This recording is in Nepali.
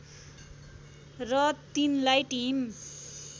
र तिनलाई टिम